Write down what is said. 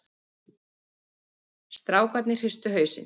Strákarnir hristu hausinn.